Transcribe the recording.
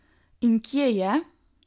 In kje je?